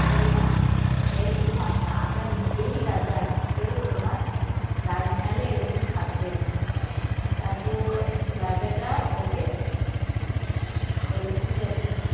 বলে না এরকম হয়না আমরা নিজেই রাজা আছি রাজমহলে এরকম থাকবেনা, তারপর রাজাটা ওকে বলে ঠিক আছে